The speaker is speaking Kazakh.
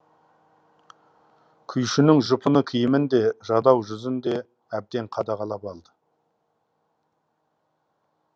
күйшінің жұпыны киімін де жадау жүзін де әбден қадағалап алды